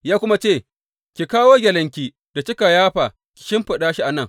Ya kuma ce, Ki kawo gyalenki da kika yafa ki shimfiɗa shi a nan.